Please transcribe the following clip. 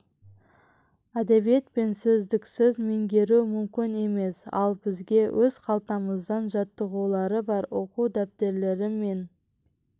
әдебиет пен сөздіксіз меңгеру мүмкін емес ал бізге өз қалтамыздан жаттығулары бар оқу дәптерлері мен